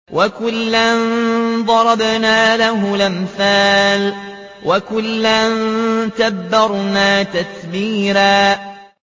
وَكُلًّا ضَرَبْنَا لَهُ الْأَمْثَالَ ۖ وَكُلًّا تَبَّرْنَا تَتْبِيرًا